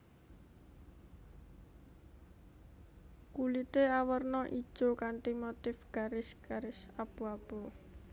Kulité awerna ijo kanthi motif garis garis abu abu